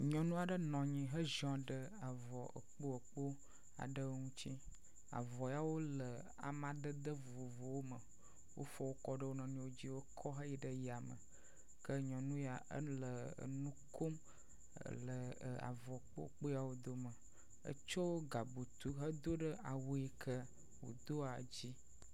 Nyɔnu aɖe nɔ anyi heziɔ ɖe avɔ ekpoekpo aɖewo ŋuti. Avɔ yawo le amadede vovovowo me. Wofɔ wo kɔ ɖe wo nɔewo dzi wokɔ heyi ɖe yam eke nyɔnu yae le enu ko mele avɔ ekpoekpo yawo dome. Etso gabutu hedo ɖea wu yi ke wodao dzi.